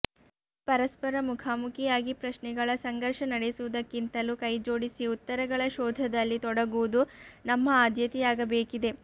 ಇಲ್ಲಿ ಪರಸ್ಪರ ಮುಖಾಮುಖಿಯಾಗಿ ಪ್ರಶ್ನೆಗಳ ಸಂಘರ್ಷ ನಡೆಸುವುದಕ್ಕಿಂತಲೂ ಕೈಜೋಡಿಸಿ ಉತ್ತರಗಳ ಶೋಧದಲ್ಲಿ ತೊಡಗುವುದು ನಮ್ಮ ಆದ್ಯತೆಯಾಗಬೇಕಿದೆ